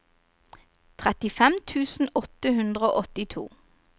trettifem tusen åtte hundre og åttito